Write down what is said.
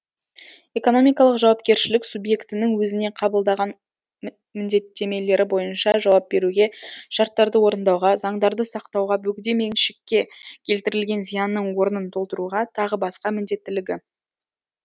экономикалық жауапкершілік субъектінің өзіне қабылдаған міндеттемелері бойынша жауап беруге шарттарды орындауға заңдарды сақтауға бөгде меншікке келтірілген зиянның орнын толтыруға тағы басқа міндеттілігі